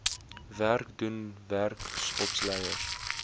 werk doen werksopleiers